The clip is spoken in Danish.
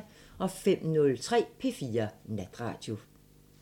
05:03: P4 Natradio